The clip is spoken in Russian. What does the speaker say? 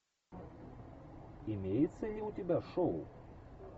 имеется ли у тебя шоу